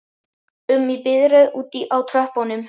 um í biðröð úti á tröppum?